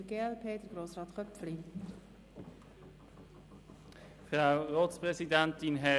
Zuerst hat Grossrat Köpfli für die glp-Fraktion das Wort.